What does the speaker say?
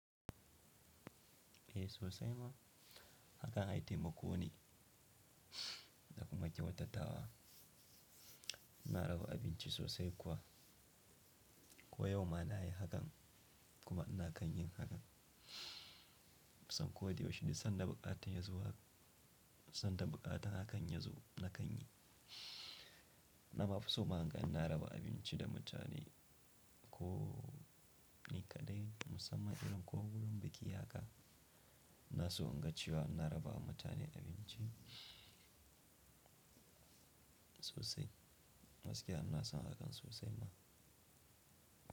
Eh sosai ma hakan ai taimako ne, da kuma kyautatawa. Ina raba abinci sosai kuwa. Ko yau ma na yi hakan kuma ina kan yin hakan. Kusan ko da yaushe sanda buƙatan ya zo, sanda buƙatan hakan ya zo na kan yi. Na mafi so ma hakan ina raba abinci da mutane ko ni kaɗai musamman idan ko wurin biki haka, na so inga cewa ina raba wa mutane abinci sosai. Gaskiya ina son hakan sosai ma.